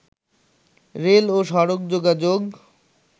rail ও সড়ক যোগাযোগ